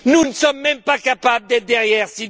Nous ne sommes même pas capables d'être derrière M.